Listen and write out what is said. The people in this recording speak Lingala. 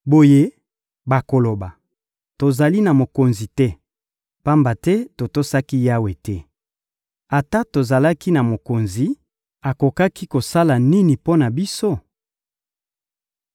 Boye bakoloba: «Tozali na mokonzi te, pamba te totosaki Yawe te. Ata tozalaki na mokonzi, akokaki kosala nini mpo na biso?»